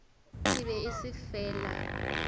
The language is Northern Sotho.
e be e se fela